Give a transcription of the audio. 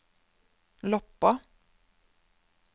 Loppa